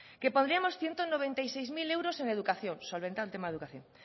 que pondríamos ciento noventa y seis mil euros en educación solventado el tema de educación